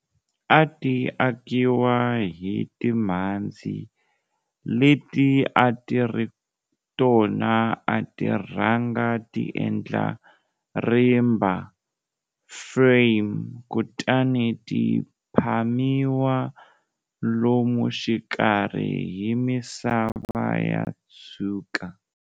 A ti akiwa hi timhandzi, leti a ti ri tona a ti rhanga ti endla rimba, frame, kutani ti phamiwa lomu xikarhi hi misava ya tshuka.